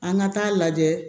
An ka taa lajɛ